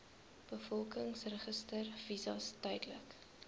bevolkingsregister visas tydelike